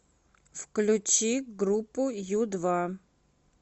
включи группу ю два